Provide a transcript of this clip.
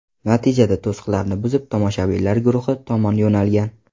Natijada to‘siqlarni buzib, tomoshabinlar guruhi tomon yo‘nalgan.